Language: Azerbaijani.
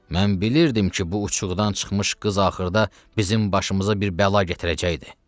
Mən bilirdim ki, bu uçuğdan çıxmış qız axırda bizim başımıza bir bəla gətirəcəkdi.